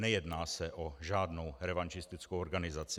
Nejedná se o žádnou revanšistickou organizaci.